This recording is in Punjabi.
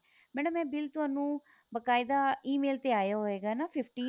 ਮੈਡਮ ਇਹ bill ਤੁਹਾਨੂੰ ਬਕਾਇਦਾ E MAIL ਤੇ ਆਇਆ ਹੋਏਗਾ ਨਾ fifteen